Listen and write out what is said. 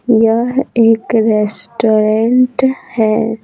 यह एक रेस्टोरेंट है।